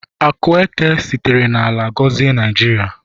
Akụ eke sitere n'ala gọzie Naijiria